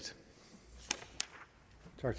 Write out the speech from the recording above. var